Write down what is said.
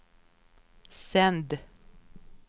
sänd